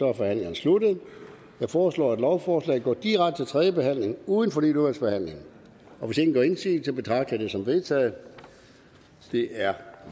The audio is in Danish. er forhandlingen sluttet jeg foreslår at lovforslaget går direkte til tredje behandling uden fornyet udvalgsbehandling hvis ingen gør indsigelse betragter jeg det som vedtaget det er